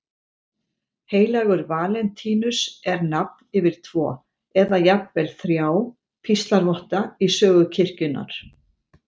Heilagur Valentínus er nafn yfir tvo, eða jafnvel þrjá, píslarvotta í sögu kirkjunnar.